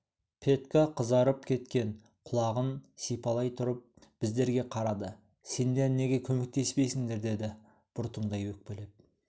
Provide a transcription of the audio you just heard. петька қызарып кеткен құлағын сипалай тұрып біздерге қарады сендер неге көмектеспейсіңдер деді бұртыңдай өкпелеп